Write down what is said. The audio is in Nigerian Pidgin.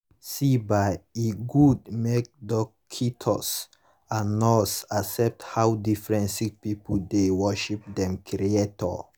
see bah e gud make dockitos and nurse accept how different sicki pipu dey worship dem creator